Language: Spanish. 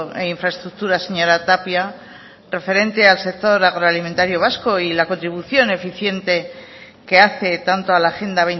e infraestructuras señora tapia referente al sector agroalimentario vasco y la contribución eficiente que hace tanto al a agenda